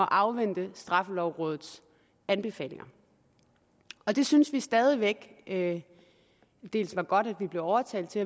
afvente straffelovrådets anbefalinger det synes vi stadig væk at det var godt at vi blev overtalt til